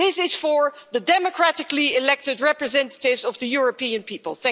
This is for the democratically elected representatives of the European people.